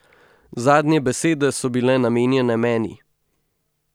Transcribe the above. Zadnje besede so bile namenjene meni.